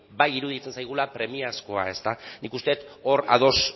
bai iruditzen zaigula premiazkoa nik uste dut hor ados